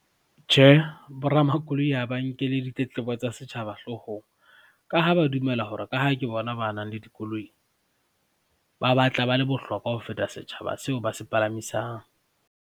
Tjhe, boramakoloi ha ba nkele ditletlebo tsa setjhaba hloohong ka ha ba dumela hore ka ha ke bona ba nang le dikoloi ba batla ba le bohlokwa ho feta setjhaba seo ba se palamisang.